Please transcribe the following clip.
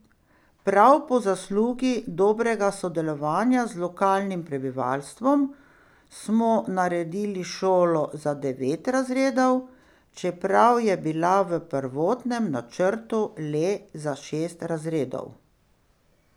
Prav po zaslugi dobrega sodelovanja z lokalnim prebivalstvom smo naredili šolo za devet razredov, čeprav je bila v prvotnem načrtu le za šest razredov.